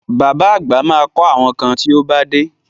Bàbá àgbà ma kọ́ àwọn kan tí ó bá dé